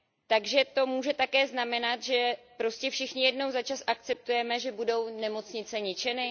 Takže to může také znamenat, že prostě všichni jednou za čas akceptujeme, že budou nemocnice ničeny?